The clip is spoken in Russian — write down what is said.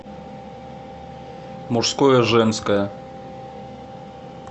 мужское женское